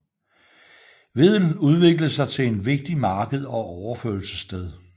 Wedel udviklede sig til en vigtigt marked og overførselssted